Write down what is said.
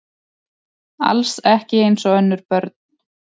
Alls ekki eins og önnur börn.